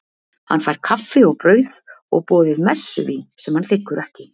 Hann fær kaffi og brauð, og boðið messuvín sem hann þiggur ekki.